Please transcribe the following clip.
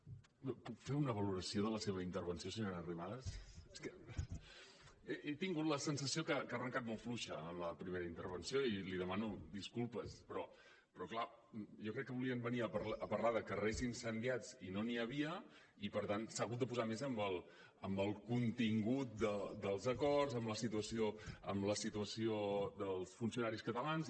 puc fer una valoració de la seva intervenció senyora arrimadas és que he tingut la sensació que ha arrencat molt fluixa en la primera intervenció i li demano disculpes però clar jo crec que volien venir a parlar de carrers incendiats i no n’hi havia i per tant s’ha hagut de posar més amb el contingut dels acords amb la situació dels funcionaris catalans